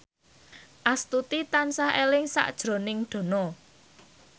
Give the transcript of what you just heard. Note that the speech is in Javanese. Astuti tansah eling sakjroning Dono